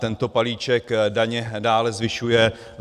Tento balíček daně dále zvyšuje.